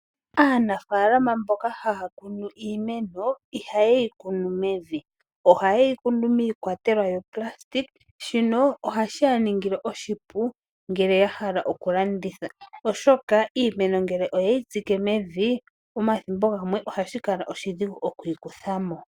Aanafalama mboka haya kunu iimeno ihaye yi kunu mevi, ohaye yi kunu miikwatelwa yonayilona. Shino ohaye shi ningile oshipu ngele ya hala okulanditha oshoka iimeno ngele oye yi tsike mevi omathimbo gamwe ohashi kala oshidhigu oku yi kutha mo.